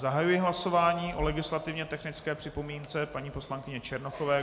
Zahajuji hlasování o legislativně technické připomínce paní poslankyně Černochové.